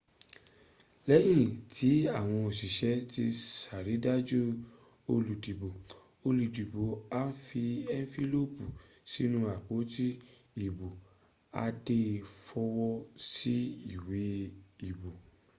lẹ́yìn tí àwọn òṣìṣẹ́ ti ṣàrídájú olùdìbò olùdìbò a fi ẹnfílópì sínú apoti ìbò a dẹ̀ fọwọ́ sí iwé ìbò